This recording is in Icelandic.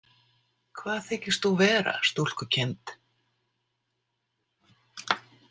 Hvað þykist þú vera, stúlkukind?